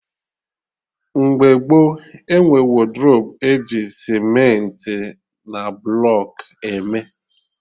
Mgbe gboo, enwe wodrobu eji cementị na blọkụ eme